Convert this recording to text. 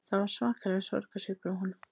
Það var svakalegur sorgarsvipur á honum